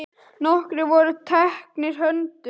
Nokkrir voru teknir höndum.